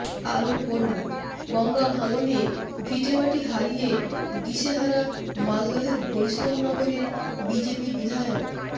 আরও পড়ুন গঙ্গা ভাঙনে ভিটেমাটি হারিয়ে দিশেহারা মালদহের বৈষ্ণবনগরের বিজেপি বিধায়ক